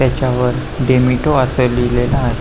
त्याच्यावर डेमेटो अस लिहिलेल आहे.